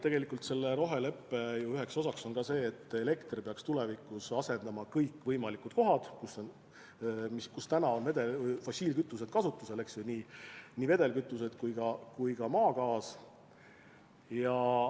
Tegelikult on üks roheleppe osa see, et elekter peaks tulevikus asendama fosssiilkütused ja maagaasi kõikjal, kus need on kasutusel.